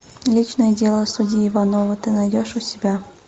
личное дело судьи ивановой ты найдешь у себя